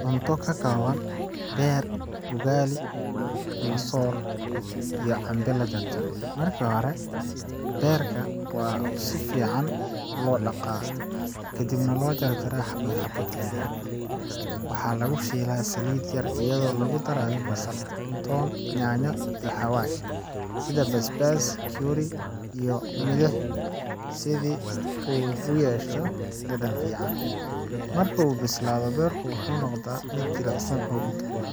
Cunto ka kooban beer, ugali ama soor, iyo cambe la jarjaray. Marka hore, beerka waa in si fiican loo dhaqaa kadibna loo jarjaraa xabbado yaryar. Waxa lagu shiilaa saliid yar iyadoo lagu darayo basal, toon, yaanyo, iyo xawaash sida basbaas, curry, iyo milix, si uu u yeesho dhadhan fiican. Marka uu bislaado, beerku wuxuu noqdaa mid jilicsan oo udgoon.